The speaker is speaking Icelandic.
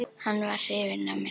Hann var hrifinn af mér.